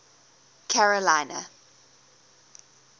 carolina